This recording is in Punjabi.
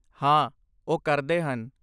ਹਾਂ, ਉਹ ਕਰਦੇ ਹਨ।